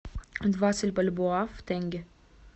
двадцать бальбоа в тенге